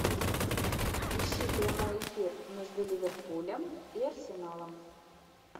ищи прямой эфир между ливерпулем и арсеналом